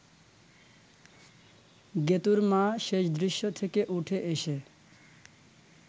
গেতুঁর মা শেষ দৃশ্য থেকে উঠে এসে